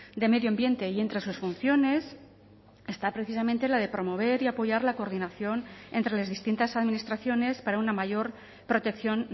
de medio ambiente y entre sus funciones está precisamente la de promover y apoyar la coordinación entre las distintas administraciones para una mayor protección